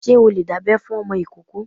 Ṣé o lè dábẹ́ fún ọmọ ìkóókó?